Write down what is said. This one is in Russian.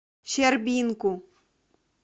щербинку